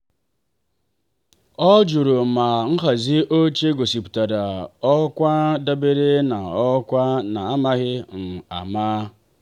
ọ jụrụ ma nhazi oche gosipụtara ọkwa dabere na ọkwa.n'amaghị ama.